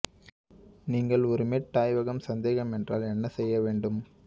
நீங்கள் ஒரு மெட் ஆய்வகம் சந்தேகம் என்றால் என்ன செய்ய வேண்டும்